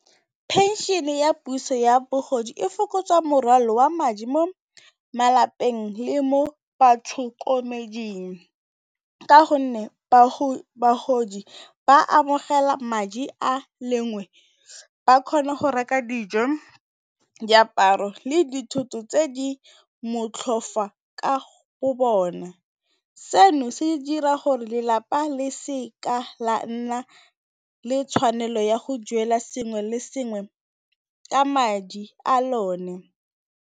Phenšene ya puso ya bogodi e fokotsa morwalo wa madi mo malapeng le mo batlhokomeding. Ka gonne, bagodi ba amogela madi a lengwe ba kgona go reka dijo, diaparo le dithoto tse di motlhofo fa go bona. Seno se dira gore lelapa le seka la nna le tshwanelo ya go duela sengwe le sengwe ka madi a lone.